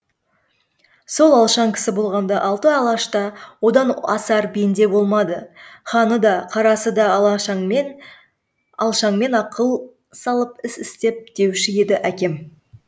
сол алшаң кісі болғанда алты алашта одан асар бенде болмады ханы да қарасы да алшаңмен ақыл салып іс істепті деуші еді әкем